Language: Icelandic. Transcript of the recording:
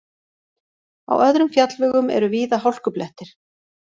Á öðrum fjallvegum eru víða hálkublettir